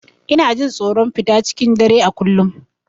Ina jin tsoron fita cikin dare a kullum.